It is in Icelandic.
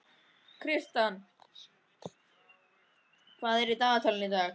Kristian, hvað er í dagatalinu í dag?